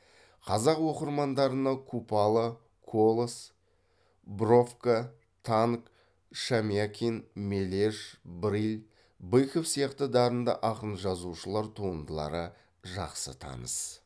қазақ оқырмандарына купала колас бровка танк шамякин мележ брыль быков сияқты дарынды ақын жазушылар туындылары жақсы таныс